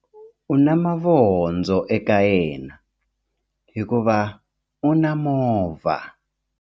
U na mavondzo eka yena hikuva u na movha.